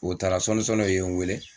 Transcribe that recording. O taara sɔni sɔni o ye n wele.